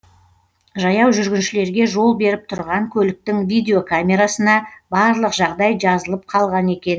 жаяу жүргіншілерге жол беріп тұрған көліктің видеокамерасына барлық жағдай жазылып қалған екен